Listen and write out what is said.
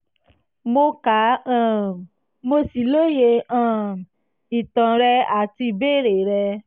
mo ka um mo sì lóye um ìtàn rẹ àti ìbéèrè rẹ